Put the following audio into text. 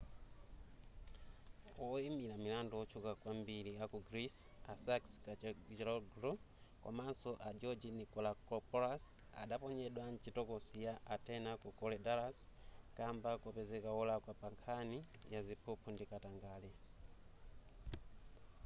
woyimira milandu wotchuka kwambiri aku greece a sakis kechagioglou komanso a george nikolakopoulos adaponyedwa mchitokosi ya atene ku korydallus kamba kopezeka wolakwa pankhani ya ziphuphu ndi katangale